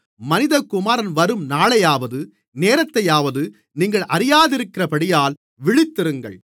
மனிதகுமாரன் வரும் நாளையாவது நேரத்தையாவது நீங்கள் அறியாதிருக்கிறபடியால் விழித்திருங்கள்